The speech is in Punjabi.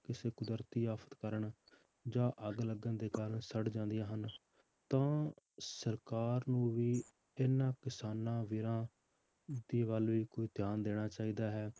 ਕਿਸੇ ਕੁਦਰਤੀ ਆਫ਼ਤ ਕਾਰਨ ਜਾਂਂ ਅੱਗ ਲੱਗਣ ਦੇ ਕਾਰਨ ਸੜ ਜਾਂਦੀਆਂ ਹਨ ਤਾਂ ਸਰਕਾਰ ਨੂੰ ਵੀ ਇਹਨਾਂ ਕਿਸਾਨਾਂ ਵੀਰਾਂ ਦੀ ਵੱਲ ਵੀ ਕੋਈ ਧਿਆਨ ਦੇਣਾ ਚਾਹੀਦਾ ਹੈ,